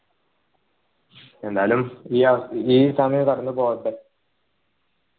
എന്നാലും ഏർ ഈ സമയവും കടന്ന്പോട്ടെ